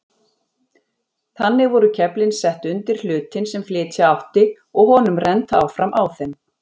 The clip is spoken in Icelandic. Þannig voru keflin sett undir hlutinn sem flytja átti og honum rennt áfram á þeim.